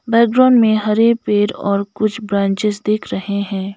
Background में हरे पेड़ और कुछ ब्रांचेज दिख रहे हैं।